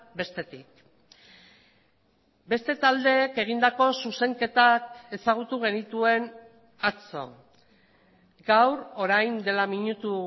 bestetik beste taldeek egindako zuzenketak ezagutu genituen atzo gaur orain dela minutu